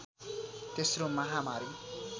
तेश्रो महामारी